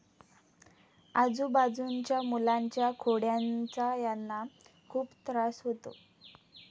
आजुबाजूनच्या मुलांच्या खोड्यानचा यांना खूप त्रास होतो.